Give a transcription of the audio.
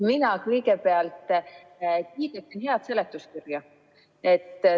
Mina kõigepealt kiidaksin head seletuskirja.